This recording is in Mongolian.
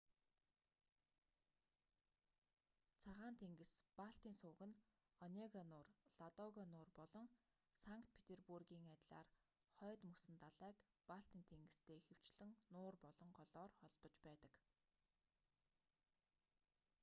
цагаан тэнгис-балтийн суваг нь онега нуур ладога нуур болон санкт петербургийн адилаар хойд мөсөн далайг балтийн тэнгистэй ихэвчлэн нуур болон голоор холбож байдаг